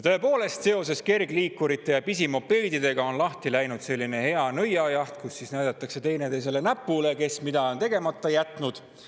Tõepoolest, seoses kergliikurite ja pisimopeedidega on lahti läinud selline hea nõiajaht, kus näidatakse teineteisele näpuga, kes mida on tegemata jätnud.